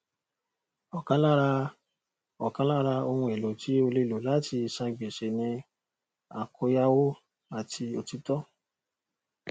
àwọn olùdókòwò abẹlẹ kò ní um ibi láti lọ wọn sì ń fara dà ewu olùdókòwò um òkèèrè